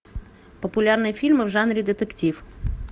популярные фильмы в жанре детектив